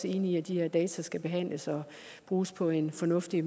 enige i at de her data skal behandles og bruges på en fornuftig